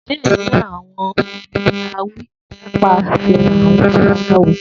Diẹ ninu awọn orin ni a wi nipasẹ àwọn babaláwo